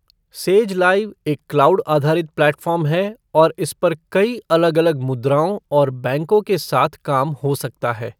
Says live एक cloud आधारित platform है और इस पर कई अलग अलग मुद्राओं और बैंकों के साथ काम हो सकता है।